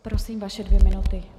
Prosím, vaše dvě minuty.